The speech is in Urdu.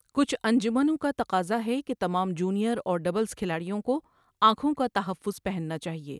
کچھ انجمنوں کا تقاضا ہے کہ تمام جونیئر اور ڈبلز کھلاڑیوں کو آنکھوں کا تحفظ پہننا چاہیے۔